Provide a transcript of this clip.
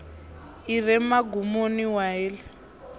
i re mugumoni wa heḽi